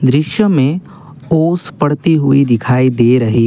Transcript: दृश्य में ओस पड़ती हुई दिखाई दे रही--